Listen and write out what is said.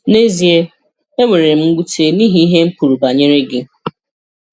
Nà ezíè, e nwèrè m ṅwuté n’ihi ihe m̀ kwùrù banyere gị.